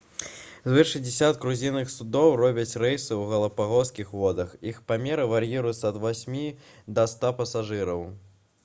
звыш 60 круізных судоў робяць рэйсы у галапагаскіх водах іх памеры вар'іруюцца ад 8 да 100 пасажыраў